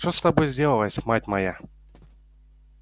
что с тобой сделалось мать моя